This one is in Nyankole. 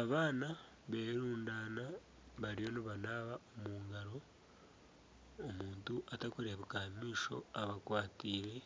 Abaana berudaine bariyo nibanaba omu ngaro omuntu atakureebeka aha maisho abakwataire